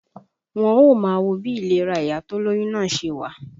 Wọ́n ó máa wo bí ìlera ìyá tó lóyún náà ṣe wà